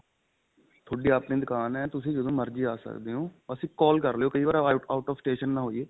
ਤੁਹਾਡੀ ਆਪਣੀ ਦੁਕਾਨ ਏ ਤੁਸੀਂ ਜਦੋ ਮਰਜੀ ਆ ਸਕਦੇ ਓ ਬਸ ਇੱਕ call ਕਰਲਿਉ ਕਈ ਵਾਰ out of station ਨਾ ਹੋਈਏ